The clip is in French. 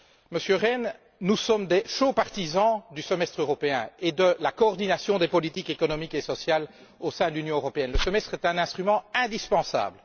Monsieur Rehn, nous sommes de fervents partisans du semestre européen et de la coordination des politiques économiques et sociales au sein de l'Union européenne. Le semestre est un instrument indispensable.